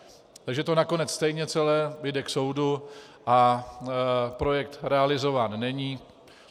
Takže to nakonec stejně celé jde k soudu a projekt realizován není.